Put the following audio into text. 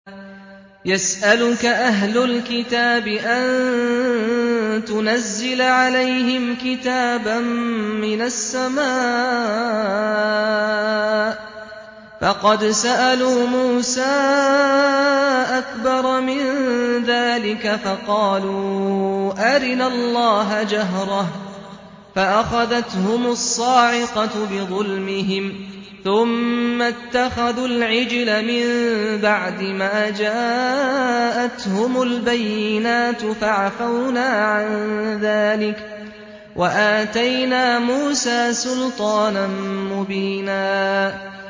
يَسْأَلُكَ أَهْلُ الْكِتَابِ أَن تُنَزِّلَ عَلَيْهِمْ كِتَابًا مِّنَ السَّمَاءِ ۚ فَقَدْ سَأَلُوا مُوسَىٰ أَكْبَرَ مِن ذَٰلِكَ فَقَالُوا أَرِنَا اللَّهَ جَهْرَةً فَأَخَذَتْهُمُ الصَّاعِقَةُ بِظُلْمِهِمْ ۚ ثُمَّ اتَّخَذُوا الْعِجْلَ مِن بَعْدِ مَا جَاءَتْهُمُ الْبَيِّنَاتُ فَعَفَوْنَا عَن ذَٰلِكَ ۚ وَآتَيْنَا مُوسَىٰ سُلْطَانًا مُّبِينًا